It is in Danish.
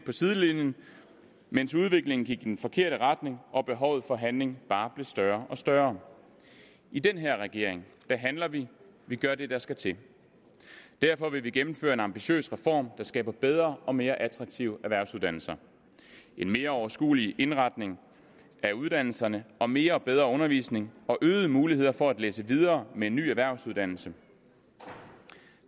sidelinjen mens udviklingen gik i den forkerte retning og behovet for handling bare blev større og større i den her regering handler vi vi gør det der skal til derfor vil vi gennemføre en ambitiøs reform der skaber bedre og mere attraktive erhvervsuddannelser en mere overskuelig indretning af uddannelserne og mere og bedre undervisning og øgede muligheder for at læse videre med en ny erhvervsuddannelse